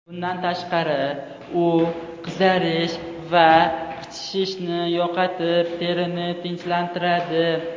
Bundan tashqari, u qizarish va qichishishni yo‘qotib, terini tinchlantiradi.